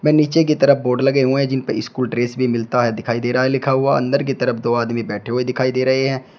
व नीचे की तरफ बोर्ड लगे हुए हैं जिनपर स्कूल ड्रेस मिलता है दिखाई दे रहा है लिखा हुआ अंदर की तरफ दो आदमी बैठे हुए दिखाई दे रहे हैं।